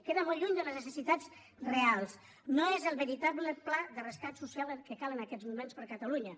queda molt lluny de les necessitats reals no és el veritable pla de rescat social que cal en aquests moments per catalunya